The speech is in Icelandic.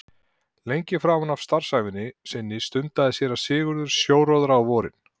Lengi framan af starfsævi sinni stundaði séra Sigurður sjóróðra á vorin.